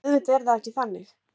En auðvitað er það ekki þannig